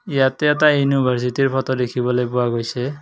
ইয়াতে এটা ইউনিভাৰ্ছিটিৰ ফটো দেখিবলৈ পোৱা গৈছে।